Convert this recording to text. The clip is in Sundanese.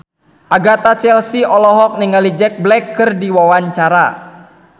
Agatha Chelsea olohok ningali Jack Black keur diwawancara